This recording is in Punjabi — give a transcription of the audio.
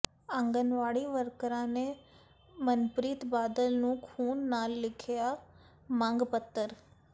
ਆਂਗਨਵਾੜੀ ਵਰਕਰਾਂ ਨੇ ਮਨਪ੍ਰੀਤ ਬਾਦਲ ਨੂੰ ਖੂਨ ਨਾਲ ਲਿਖਿਆ ਮੰਗ ਪੱਤਰ